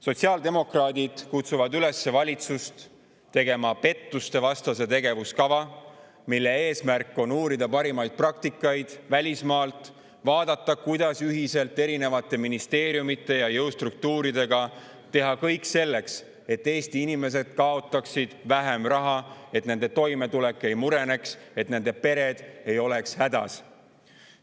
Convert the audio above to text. Sotsiaaldemokraadid kutsuvad üles valitsust tegema pettustevastase tegevuskava, mille eesmärk on uurida parimaid praktikaid välismaalt, vaadata, kuidas ühiselt erinevate ministeeriumide ja jõustruktuuridega teha kõik selleks, et Eesti inimesed kaotaksid vähem raha, et nende toimetulek ei mureneks, et nende pered ei oleks hädas.